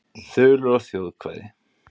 Þulur og þjóðkvæði.